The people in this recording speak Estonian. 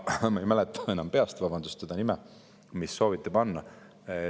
Ma ei mäleta enam peast seda nime, mis sooviti panna.